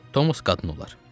Tomos qadın olar.